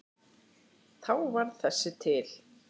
Þá varð þessi til.